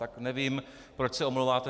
Tak nevím, proč se omlouváte.